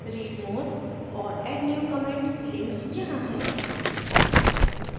read more और add new comment links यहाँ है